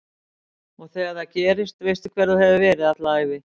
Og þegar það gerist veistu hver þú hefur verið alla ævi